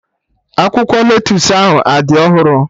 Akwụkwọ lettusu ahụ adị ọhụrụ?